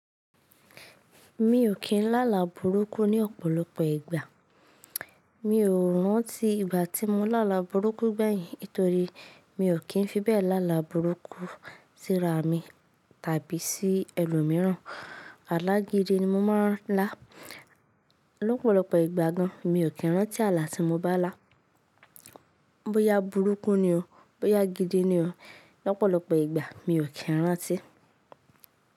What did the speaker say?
Mi ò kí n lá là burúkú ní ọ̀pọ̀lọpọ̀ ìgbà. Mi ò rántí ìgbà tí mo lá là burúkú gbẹ̀yìn, torí mi ò kí n fibẹ̀ lá là burúkú síra mi tàbí sí ẹlòmíràn. Alá gidi ni mo máa n lá. Lọ́pọ̀lọpọ̀ ìgbà gan, mi ò kí n rántí àlà tí mo bá là. Bóyá burúkú ni o, bóyá gidi ni o, lọ́pọ̀lọpọ̀ ìgbà mi ò kí n rántí.